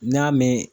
N y'a mɛn